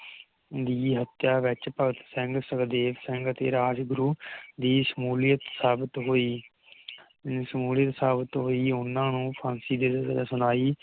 ਦੀ ਹੱਤਿਆ ਵਿਚ ਭਗਤ ਸਿੰਘ ਸੁਖਦੇਵ ਸਿੰਘ ਅਤੇ ਰਾਜਗੁਰੂ ਦੀ ਸ਼ਮੂਲੀਅਤ ਸਾਬਿਤ ਹੁਈ ਦੀ ਸ਼ਮੂਲੀਅਤ ਸਾਬਿਤ ਹੁਈ ਓਹਨਾ ਨੂੰ ਫਾਂਸੀ ਦੀ ਸਜ਼ਾ ਸੁਣਾਈ